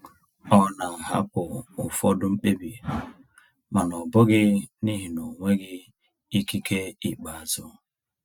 Ọ na-ahapụ ụfọdụ mkpebi, mana ọ bụghị n’ihi na ọ nweghị ikike ikpeazụ.